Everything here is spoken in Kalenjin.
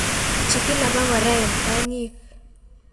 chikil abakora en kongik